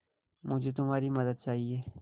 मुझे तुम्हारी मदद चाहिये